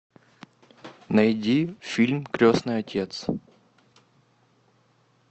найди фильм крестный отец